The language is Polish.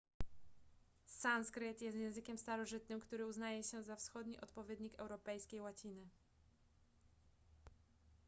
sanskryt jest językiem starożytnym który uznaje się za wschodni odpowiednik europejskiej łaciny